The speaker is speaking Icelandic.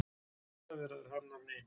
Kjaraviðræður hafnar á ný